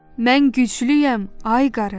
Mən güclüyəm, ay qarı.